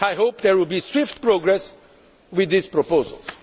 I hope there will be swift progress with these proposals.